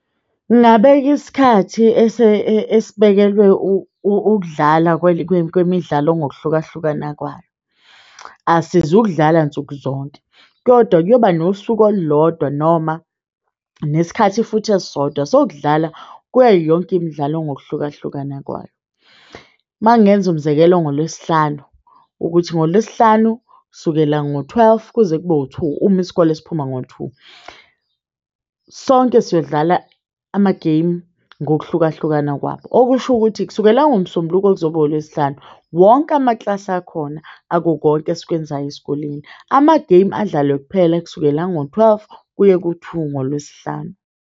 Ngingabeka isikhathi esibekelwe ukudlala kwemidlalo ngokuhlukahlukana kwayo asizokudlala nsukuzonke, kodwa kuyoba nosuku olulodwa noma nesikhathi futhi esisodwa sokudlala kuyo yonke imidlalo ngokuhlukahlukana kwayo. Uma ngenza umzekelo ngoLwesihlanu, ukuthi ngoLwesihlanu sukela ngo-twelve kuze kube u-two, uma isikole siphuma ngo-two, sonke sizodlala amageyimu ngokuhlukahlukana kwabo. Okusho ukuthi kusukela ngoMsombuluko kuze kube ngoLwesihlanu, wonke amakilasi akhona ako konke esikwenzayo esikoleni amageyimu adlalwe kuphela kusukela ngo-twelve kuye ku-two ngoLwesihlanu.